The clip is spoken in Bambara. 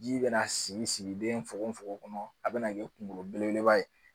Ji bɛna sigi sigiden fogo fogo kɔnɔ a be na kɛ kunkolo belebeleba ye